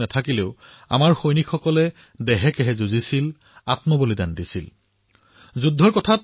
তথাপিও আমাৰ সৈন্যই বীৰত্বৰে যুঁজিছিল আৰু সৰ্বোচ্চ বলিদানেৰে বৃহৎ ভূমিকা পালন কৰিছিল